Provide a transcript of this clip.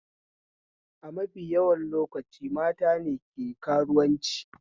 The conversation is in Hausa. A mafi yawan lokaci matane ke karuwanci